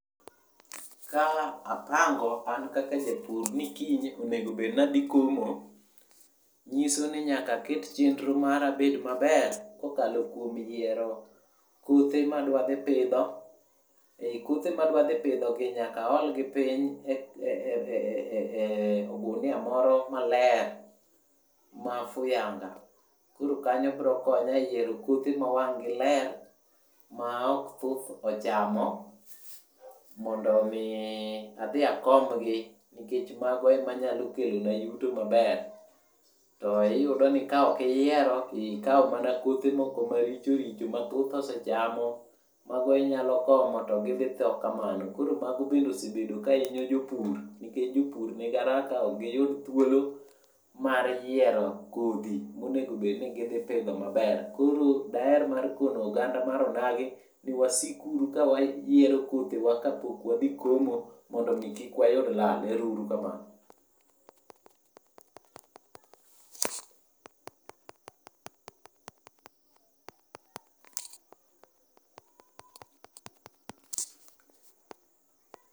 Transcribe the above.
Ka apango an kaka japur ni kiny onego bed nadhi komo, nyiso ni nyaka aket chenro mara bed maber, kokalo kuom yiero kothe madwa dhi pidho. Ei kothe madwa dhi pidhogi nyaka aolgi piny e e e eh ogunia moro maler, mafuyanga. Koro kanyo bro konya e yiero kothe mowang'gi ler, ma ok thuth ochamo mondo mi ii adhi akombgi nikech mgno emanyalo kelona yuto maber. To iyudo ni ka okiyiero tikao mana kothe moko marichoricho mathuth osechamo, mago inyalo komo to gidhi thoo kamano. Koro mago bende osebedo kainyo jopur, nikech jopur nigaraka, okgiyud thuolo mar yiero kodhi monego bed ni gidhi pidho maber. Koro daer mar kono oganda mar onagi ni wasikuru ka wayiero kothewa ka pok wadhi komo mondo mi kikwayud lal, erourukamano.